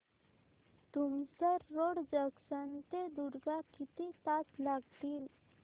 Tumsar road junction ते दुर्ग किती तास लागतील